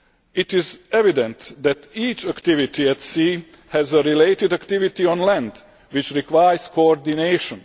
It is evident that each activity at sea has a related activity on land, which requires coordination.